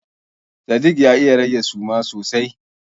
Sadik ya iya rage suma sosai.